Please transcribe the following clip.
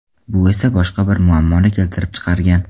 Bu esa boshqa bir muammoni keltirib chiqargan.